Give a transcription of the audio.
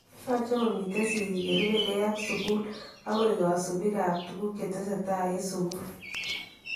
Yache komiten sikiik yeerubekee ak sukuuliit ak koek kasubiikab tukuk chetesetai en sukuuliit